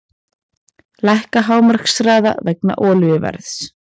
Lækka hámarkshraða vegna olíuverðs